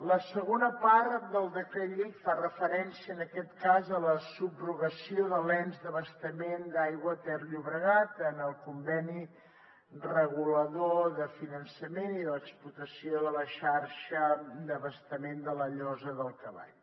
la segona part del decret llei fa referència en aquest cas a la subrogació de l’ens d’abastament d’aigua ter llobregat en el conveni regulador del finançament i l’explotació de la xarxa d’abastament de la llosa del cavall